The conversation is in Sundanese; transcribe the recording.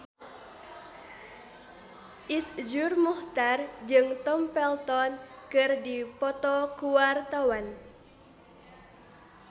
Iszur Muchtar jeung Tom Felton keur dipoto ku wartawan